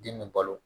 Den bɛ balo